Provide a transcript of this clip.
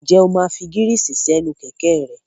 Ǹjẹ́ o máa fi gírísì sí séènì kẹ̀kẹ́ rẹ?